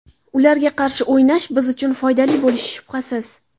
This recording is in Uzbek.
Ularga qarshi o‘ynash biz uchun foydali bo‘lishi shubhasiz.